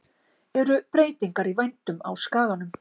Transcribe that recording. Eru breytingar í vændum á skaganum?